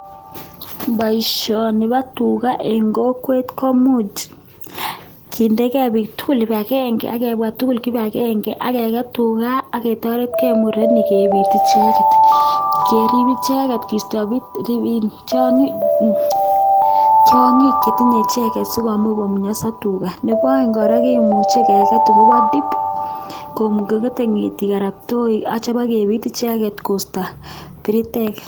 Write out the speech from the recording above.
Poishani pas Tuga Eng kokwet komuchi kondege. piik tugul kipagenge ,imuchi korip murenik anan kokweri ngetik kopa tip pakoista piriteek